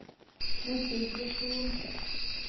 neste instruksjon